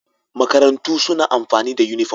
Makarantu suna amfani da uniform